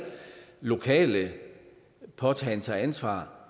lokale påtagen sig ansvar